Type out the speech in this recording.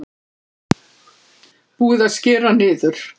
Búið að skera niður